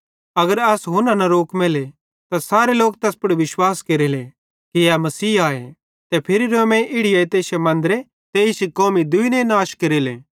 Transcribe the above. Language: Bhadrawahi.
अगर अस एस हुन्ना न रोकमेले त सारे लोक तैस पुड़ विश्वास केरेले कि ए मसीह आए ते फिरी रोमेइं इड़ी एइतां इश्शे मन्दरे ते इश्शी कौमी दुइने नाश केरेले